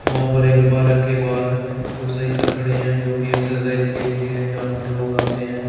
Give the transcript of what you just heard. यहां पर एक पार्क के बाहर दो साइकल खड़े हैं जो कि एक्सरसाइज के लिए हैं जहां पर लोग आते हैं।